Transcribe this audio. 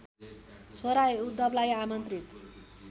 छोरा उद्धवलाई आमन्त्रित